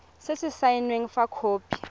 se se saenweng fa khopi